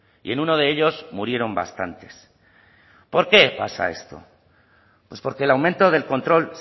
y en uno de ellos murieron bastantes por qué pasa esto pues porque el aumento del control